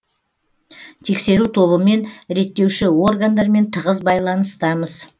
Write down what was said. тексеру тобымен реттеуші органдармен тығыз байланыстамыз